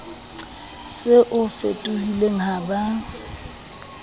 se o fetohile ha ba